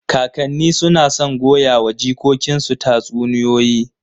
Kakanni suna son goyawa jikokinsu tatsuniyoyi.